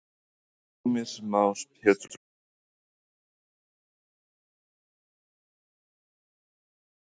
Heimir Már Pétursson: Heldurðu að þetta komist út úr nefnd í næstu viku?